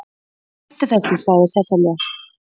Hættu þessu, sagði Sesselja.